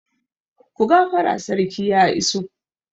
Ku gafara sarki ya iso!